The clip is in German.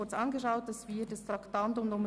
Nun schieben wir das Traktandum 67 ein.